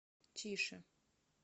тише